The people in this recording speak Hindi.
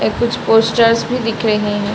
ऐ कुछ पोस्टर्स भी दिख रहे हैं।